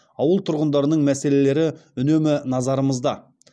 ауыл тұрғындарының мәселелері үнемі назарымызда